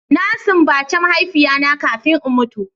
Na simbace mahaifiya na kafin in mutu.